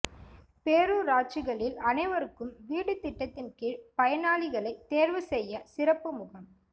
பேரூராட்சிகளில் அனைவருக்கும் வீடு திட்டத்தின் கீழ் பயனாளிகளை தோ்வு செய்ய சிறப்பு முகாம்